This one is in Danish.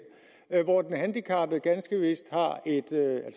hvor den handicappede fleksjobber ganske vist har et